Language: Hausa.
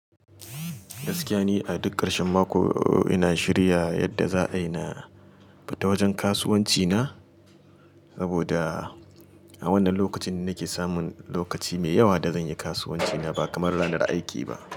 Gaskiya ne a duk ƙarshen mako ina shirya yadda za a yi na fita wajen kasuwanci na. Saboda a wannan lokacin ne nake samun lokaci mai yawa da zan yi kasuwanci na ba kamar ranar aiki ba.